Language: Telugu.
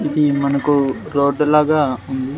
ఇది మనకు రోడ్డు లాగా ఉంది.